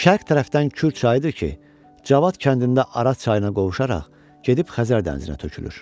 Şərq tərəfdən Kür çayıdır ki, Cavad kəndində Araz çayına qovuşaraq gedib Xəzər dənizinə tökülür.